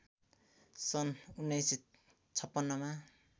सन्‌ १९५६मा